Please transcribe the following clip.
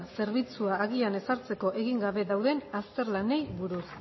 zerbitzua agian ezartzeko egin gabe dauden azterlanei buruz